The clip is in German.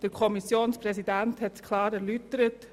Der Kommissionspräsident hat das Resultat klar erläutert.